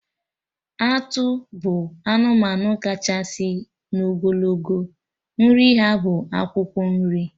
Atụ bụ anụmanụ kachasị n'ogologo, nri ha bụ akwụkwọ nri